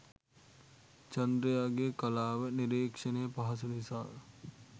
චන්ද්‍රයාගේ කලාව නිරීක්ෂණය පහසු නිසා